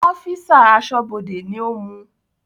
Ọ́físà Aṣọ́bọdè ni ó mú